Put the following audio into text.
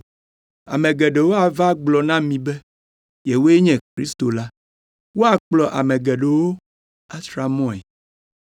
Ame geɖewo ava agblɔ na mi be yewoe nye Kristo la, eye woakplɔ ame geɖewo atra mɔe.